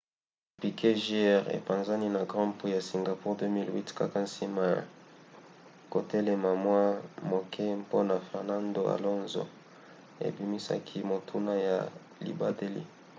piquet jr. epanzani na grand prix ya singapour 2008 kaka nsima ya kotelema mwa moke mpona fernando alonso ebimisaki motuka ya libateli